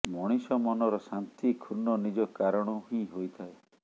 ମଣିଷ ମନର ଶାନ୍ତି କ୍ଷୁର୍ଣ୍ଣ ନିଜ କାରଣରୁ ହିଁ ହୋଇଥାଏ